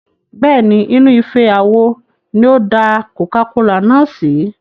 Bẹ́ẹ̀ni, inú ife àwo ni ó da coca-cola náà sí.